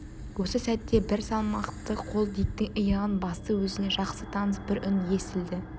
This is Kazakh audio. осы сәтте бір салмақты қол диктің иығын басты өзіне жақсы таныс бір үн естілді